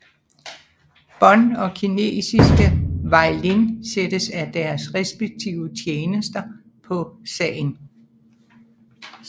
Bond og kinesiske Wai Lin sættes af deres respektive tjenester på sagen